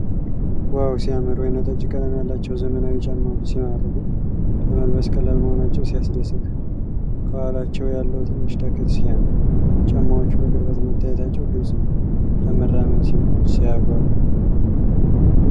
ዋው ሲያምር! ወይንጠጅ ቀለም ያላቸው ዘመናዊ ጫማዎች ሲማርኩ! ለመልበስ ቀላል መሆናቸው ሲያስደስት! ከኋላቸው ያለው ትንሽ ተክል ሲያምር! ጫማዎቹ በቅርበት መታየታቸው ግልፅ ነው። ለመራመድ ሲመች! ሲያጓጓ!